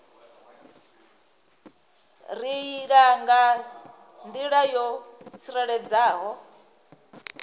reila nga nḓila yo tsireledzeaho